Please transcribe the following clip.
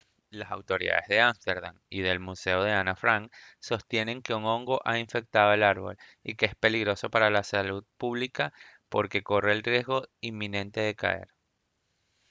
las autoridades de ámsterdam y del museo de ana frank sostienen que un hongo ha infectado el árbol y que es peligroso para la salud pública porque corre el riesgo inminente de caer